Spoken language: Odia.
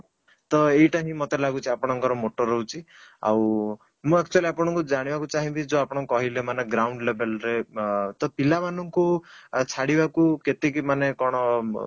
ତ ଏଇଟା ହିଁ ମତେ ଲାଗୁଛି ଆପଣଙ୍କର moto ରହୁଛି ଆଉ ମୁଁ actually ଆପଣଙ୍କୁ ଜାଣିବାକୁ ଚାହିଁବି ଯୋଉ ଆପଣ କହିଲେ ground level ରେ ଅଂ ତ ପିଲା ମାନଙ୍କୁ ଛାଡିବାକୁ କେତିକି ମାନେ କ'ଣ